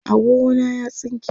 agogo na ya tsinke